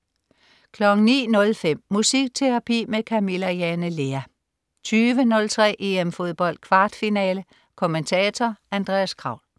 09.05 Musikterapi med Camilla Jane Lea 20.03 EM Fodbold. Kvartfinale. Kommentator: Andreas Kraul